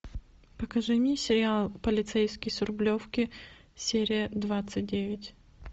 покажи мне сериал полицейский с рублевки серия двадцать девять